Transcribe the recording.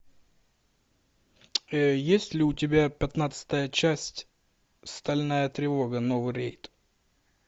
есть ли у тебя пятнадцатая часть стальная тревога новый рейд